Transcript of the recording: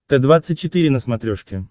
т двадцать четыре на смотрешке